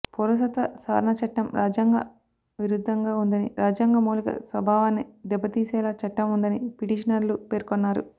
పౌరసత్వ సవరణ చట్టం రాజ్యాంగ విరుద్ధంగా ఉందని రాజ్యాంగ మౌలిక స్వభావాన్ని దెబ్బతీసేలా చట్టం ఉందని పిటిషనర్లు పేర్కొన్నారు